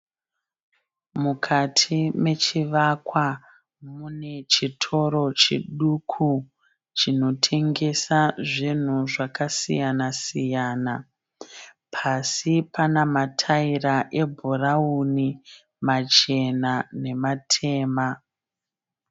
Mukati mechivakwa mune chitoro chiduku chinotengesa zvinhu zvakasiyana siyana. Pasi pana ma taira e bhurauni , machena nematema.